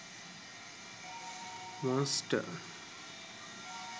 monster